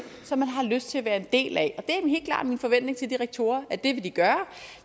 som de har lyst til at være en del af og min forventning til de rektorer at det vil de gøre